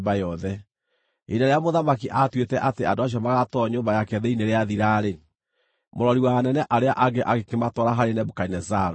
Ihinda rĩrĩa mũthamaki aatuĩte atĩ andũ acio magaatwarwo nyũmba yake thĩinĩ rĩathira-rĩ, mũrori wa anene arĩa angĩ agĩkĩmatwara harĩ Nebukadinezaru.